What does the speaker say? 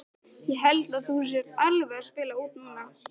Ég held að þú sért alveg að spila út núna!